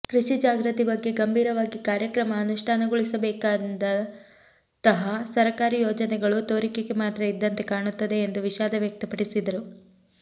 ಕೃಷಿ ಜಾಗೃತಿ ಬಗ್ಗೆ ಗಂಭೀರವಾಗಿ ಕಾರ್ಯಕ್ರಮ ಅನುಷ್ಠಾನಗೊಳಿಸಬೇಕಾದಂತಹ ಸರಕಾರಿ ಯೋಜನೆಗಳು ತೋರಿಕೆಗೆ ಮಾತ್ರ ಇದ್ದಂತೆ ಕಾಣುತ್ತದೆ ಎಂದು ವಿಷಾದ ವ್ಯಕ್ತಪಡಿಸಿದರು